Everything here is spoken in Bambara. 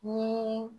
Ni